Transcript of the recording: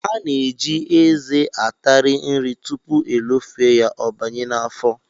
A na-eji eze atari nri tupu elofee ya, ọ banye n'afọ